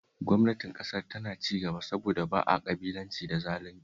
Gwamnatin Ƙasar tana cigaba saboda ba a ƙabilanci da zalunci